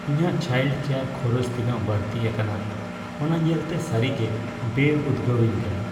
ᱤᱧᱟᱹᱜ child care ᱠᱷᱚᱨᱚᱪ ᱛᱤᱱᱟᱹᱜ ᱵᱟᱹᱲᱛᱤ ᱟᱠᱟᱱᱟ ᱚᱱᱟ ᱧᱮᱞᱛᱮ ᱥᱟᱹᱨᱤᱜᱮ ᱵᱮᱼᱩᱫᱽᱜᱟᱹᱣᱤᱧ ᱠᱟᱱᱟ ᱾